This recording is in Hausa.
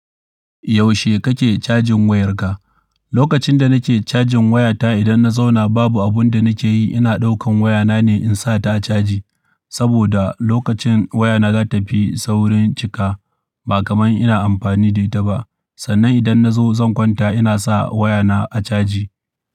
Yaushe kake cajin wayarka? Lokacin da nake cajin wayata, idan na zauna babu abun da nake yi, ina ɗaukan wayana ne in sa ta caji. Saboda lokacin wayana za ta tafi saurin cika ba kamar ina amfani da ita ba. Sannan idan na zo zan kwanta ina sa wayana a caji.